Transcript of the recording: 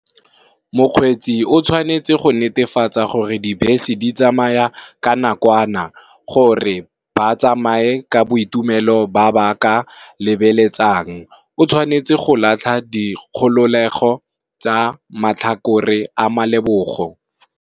Mokgweetsi o tshwanetse go netefatsa gore dibese di tsamaya ka nakwana, gore a tsamaye ka boitumelo a ka bo lebelang, o tshwanetse go latlha di kgololego tsa matlhakore a malebogo.